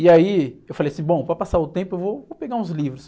E aí eu falei assim, bom, para passar o tempo eu vou, vou pegar uns livros.